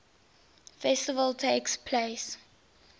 festival takes place